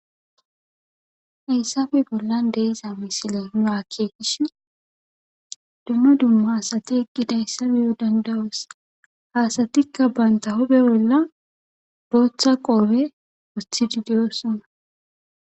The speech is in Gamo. Hessafe bollan deeza misile nu akkekishi dumma dumma hasati eqqidayssa biyo dandawos haasatikka baynta hobe bolla booththa qoobe othidideyosonna.